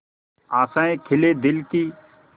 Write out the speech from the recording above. आशाएं खिले दिल की